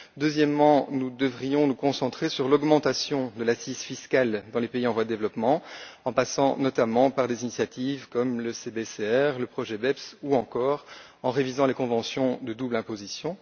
Deuxièmement, nous devrions nous concentrer sur l'augmentation de l'assiette fiscale dans les pays en voie développement, en passant notamment par des initiatives comme le CBCR, le projet BEPS ou, encore, en révisant les conventions de double imposition.